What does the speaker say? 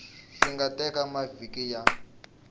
swi nga teka mavhiki ya